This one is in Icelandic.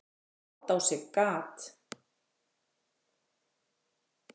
át á sig gat